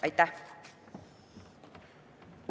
Aitäh!